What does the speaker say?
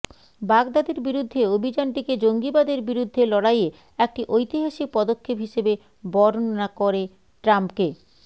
বাগদাদির বিরুদ্ধে অভিযানটিকে জঙ্গিবাদের বিরুদ্ধে লড়াইয়ে একটি ঐতিহাসিক পদক্ষেপ হিসেবে বর্ণনা করে ট্রাম্পকে